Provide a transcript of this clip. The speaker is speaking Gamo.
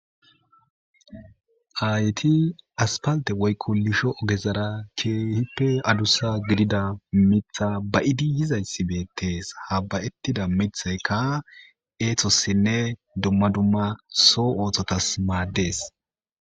Hayti aspalte woykko lisho ogezara keehippe adussa gidida mitha ba7idi yizayssi beettees ha bbayettida mithaykka eetosinne dumma dumma soo ooththotas maaddees.